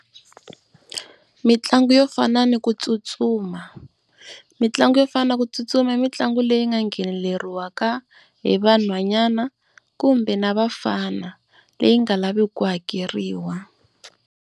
Mitlangu yo fana ni ku tsutsuma, mitlangu yo fana na ku tsutsuma i mitlangu leyi nga ngheneleriwaka hi vanhwanyana kumbe na vafana leyi nga lavi ku hakeriwa.